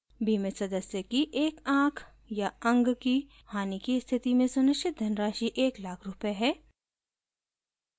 बीमित सदस्य की एक आँख/अंग की हानि की स्थिति में सुनिश्चित धनराशि 100000 एक लाख रूपए है